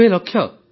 ୯୦ ଲକ୍ଷ